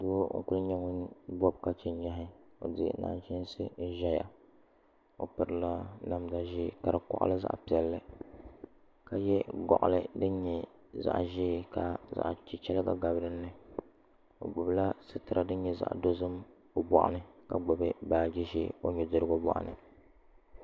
Doo n ku nyɛ ŋun bob ka chɛ nyahi o di nachiinsi ʒɛya o pirila namda ʒiɛ ka di koɣali zaɣ piɛlli ka yɛ goɣali din nyɛ zaɣ ʒiɛ ka zaɣ chichɛrigi gabi dinni o gbubila sitira din nyɛ zaɣ dozim o boɣa ni ka gbubi baaji ʒiɛ o nudirigu boɣa ni